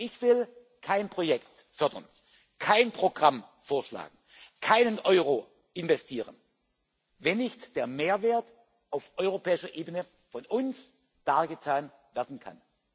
Ich will kein Projekt fördern, kein Programm vorschlagen, keinen Euro investieren, wenn nicht der Mehrwert auf europäischer Ebene von uns dargetan werden kann.